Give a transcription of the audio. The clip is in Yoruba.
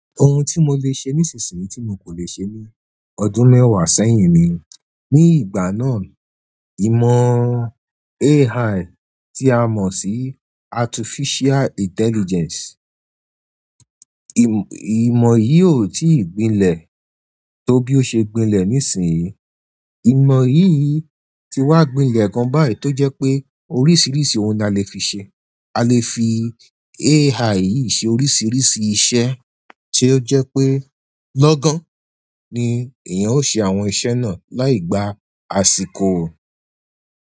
Ohun tí mo lè ṣe nísinsìnyí tí n kò lè ṣe ní ọdún mẹ́wàá sẹ́yìn ni, ní ìgbà náà ìmọ̀ AI tí a mọ̀ sí artificial intelligence, ìmọ̀ yìí ò tí ì gbinlẹ̀ tó bí ó ṣe gbinlẹ̀ nísinsìnyí. Ìmọ̀ yìí ti wá gbinlẹ̀ gan báyi tó jẹ́ pé oríṣiríṣi ohun la le fi ṣe. A lè fi AI yìí ṣe oríṣiríṣi iṣẹ́ ti ó jẹ́ pé lọ́gán ni èèyàn ó ṣe àwọn iṣẹ́ náà láì gba àsìkò.